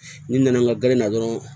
N'i nana n ka ga dɔrɔn